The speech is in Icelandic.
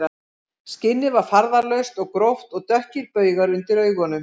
Skinnið var farðalaust og gróft og dökkir baugar undir augunum